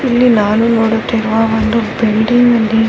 ಇಲ್ಲಿ ನಾನು ನೋಡುತ್ತಿರುವ ಒಂದು ಬಿಲ್ಡಿಂಗ್ನಲ್ಲಿ --